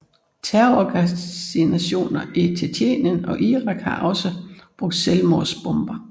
Terrororganisationer i Tjetjenien og Irak har også brugt selvmordsbomber